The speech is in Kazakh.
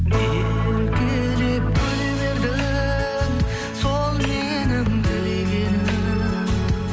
еркелеп күле бердің сол менің тілегенім